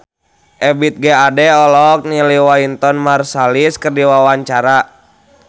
Ebith G. Ade olohok ningali Wynton Marsalis keur diwawancara